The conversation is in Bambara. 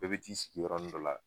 Bɛɛ bi t'i sigiyɔrɔnin dɔ la